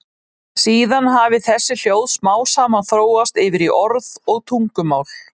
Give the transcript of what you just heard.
Síðan hafi þessi hljóð smám saman þróast yfir í orð og tungumál.